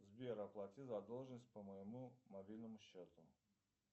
сбер оплати задолженность по моему мобильному счету